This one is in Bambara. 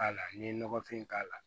A la n'i ye nɔgɔfin k'a la